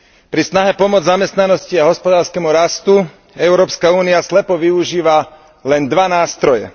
Pri snahe pomôcť zamestnanosti a hospodárskemu rastu Európska únia slepo využíva len dva nástroje.